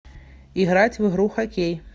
играть в игру хоккей